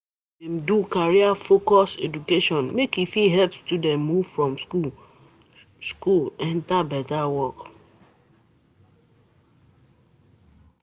Dem do career-focused education make e fit help students move from school school enter beta work+